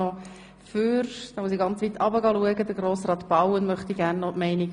Deshalb erscheinen Sie auf der Rednerliste in der falschen Reihenfolge.